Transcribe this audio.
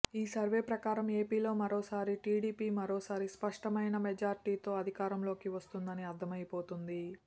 ఈ సర్వే ప్రకారం ఏపీలో మరోసారి టీడీపీ మరోసారి స్పష్టమైన మెజార్టీతో అధికారంలోకి వస్తుందని అర్ధమైపోతుంది